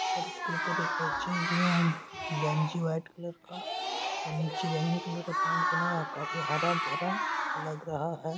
और उसके ऊपर एक बच्चे जो म गंजी वाइट कलर का और नीचे बैंगनी कलर का पैंट पहना हुआ। काफी हरा-भरा लग रहा है।